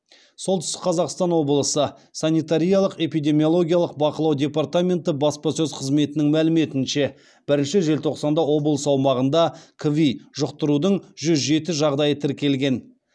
солтүстік қазақстан облысы санитариялық эпидемиологиялық бақылау департаменті баспасөз қызметінің мәліметінше бірінші желтоқсанда облыс аумағында кви жұқтырудың жүз жеті жағдайы тіркелген